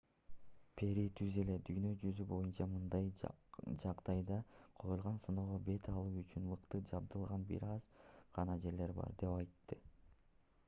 перри түз эле дүйнө жүзү боюнча мындай жагдайда коюлган сыноого бет алуу үчүн мыкты жабдылган бир аз гана жерлер бар деп айтты